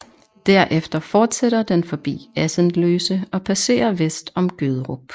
Derefter forsætter den forbi Assendløse og passerer vest om Gøderup